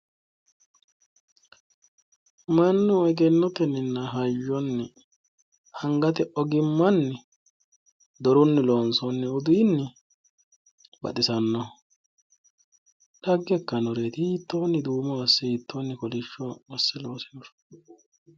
Mannu egennotenninna hayyonni angate ogimmanni dorunni lonsoonni uduunni baxisanno dhagge ikkannoreeti hittoonni duumo asse hittoonni kolishsho asse loosinoro